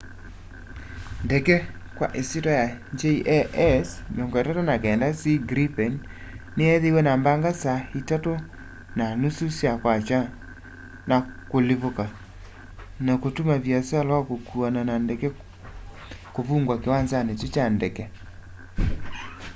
ndege kwa ĩsyĩtwa ya jas 39c gripen nĩyeethĩiwe na mbaga saa 9.30 sya kwakya 0230 utc na kũlivũka na kũtũma vĩasala wa kũkuana na ndege kũvũngwa kĩwanzanĩ kyũ kya ndege